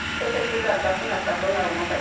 Təşəkkürlər Qasım ətraflı məlumata görə.